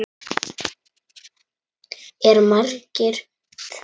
Er margt fémætt hérna inni?